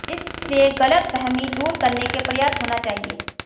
इसलिए गलतफहमी दूर करने के प्रयास होना चाहिए